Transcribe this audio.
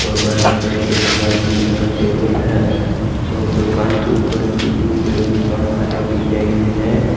और right side एक लाल कलर का टेबल है और दुकान के ऊपर सीलिंग में बहुत सारा डिजाइन है।